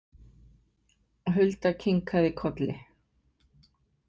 Hulda kinkaði kolli.